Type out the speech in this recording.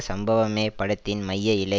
சம்பவமே படத்தின் மைய இழை